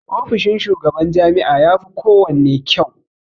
Ofishin shugaban jami'a yafi kowanne kyau.